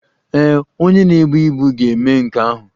Ee e, onye na-ebu ibu ga-eme nke ahụ.